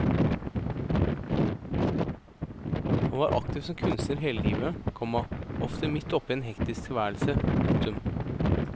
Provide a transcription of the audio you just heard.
Han var aktiv som kunstner hele livet, komma ofte midt oppe i en hektisk tilværelse. punktum